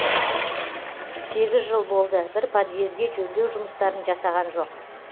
сегіз жыл болды бір подъезге жөндеу жұмыстарын жасаған жоқ